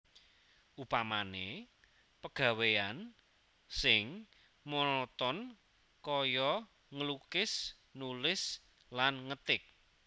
Upamané pegawéyan sing monoton kaya nglukis nulis lan ngetik